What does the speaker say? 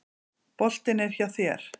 Boltinn er hjá þér.